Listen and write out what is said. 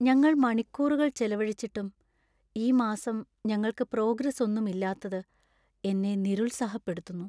ഞങ്ങൾ മണിക്കൂറുകൾ ചെലവഴിച്ചിട്ടും ഈ മാസം ഞങ്ങൾക്ക് പ്രോഗ്രസ്സ്ഒന്നും ഇല്ലാത്തത് എന്നെ നിരുത്സാഹപ്പെടുത്തുന്നു.